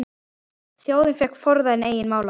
Þjóðin fékk forræði eigin mála.